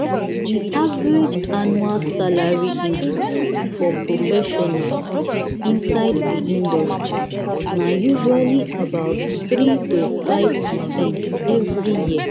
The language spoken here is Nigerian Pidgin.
the average annual salary increase for professionals inside the industry na usually about three to five percent every year.